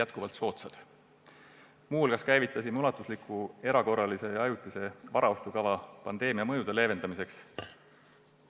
Muu hulgas oleme käivitanud laiaulatusliku erakorralise ja ajutise varaostukava pandeemia mõjude leevendamiseks.